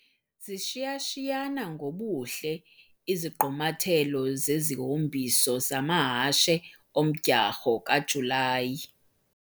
Zishiya-shiyana ngobuhle izigqumathelo zezihombiso zamahashe omdyarho kaJulayi.